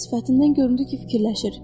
Sifətindən göründü ki, fikirləşir.